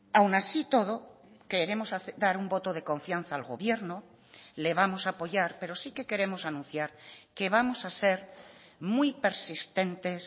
aún así y todo queremos dar un voto de confianza al gobierno le vamos a apoyar pero sí que queremos anunciar que vamos a ser muy persistentes